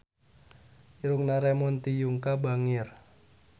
Irungna Ramon T. Yungka bangir